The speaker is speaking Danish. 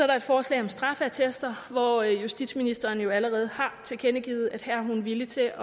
der et forslag om straffeattester hvor justitsministeren jo allerede har tilkendegivet at her er hun villig til